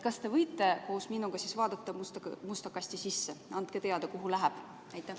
Kas te võite koos minuga vaadata musta kasti sisse ja anda teada, kuhu läheb?